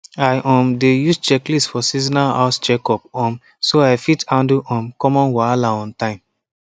i um dey use checklist for seasonal house checkup um so i fit handle um common wahala on time